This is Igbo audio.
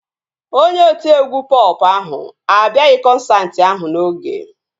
Onye otiegwu pọp ahụ abịaghị kọnsaati ahụ n'oge